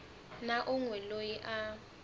na un we loyi a